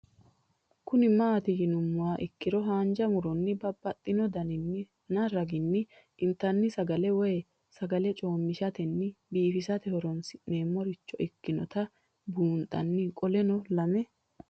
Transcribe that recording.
Kuni mati yinumoha ikiro hanja muroni babaxino daninina ragini intani sagale woyi sagali comishatenna bifisate horonsine'morich ikinota bunxana qoleno lame